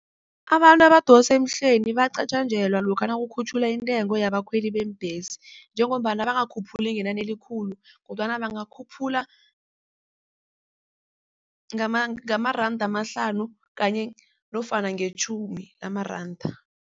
Abantu abadosa emhlweni bayacatjangelwa lokha nakukhutjhulwa intengo yabakhweli beembhesi njengombana bangakhuphuli ngenani elikhulu kodwana bangakhuphula ngamaranda amahlanu kanye nofana ngetjhumi lamaranda.